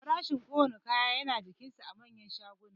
Farashin kowanne kaya yana jikinsa a manyan shaguna